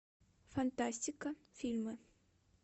фантастика фильмы